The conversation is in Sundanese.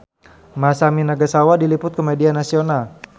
Masami Nagasawa diliput ku media nasional